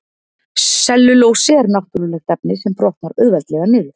Sellulósi er náttúrulegt efni sem brotnar auðveldlega niður.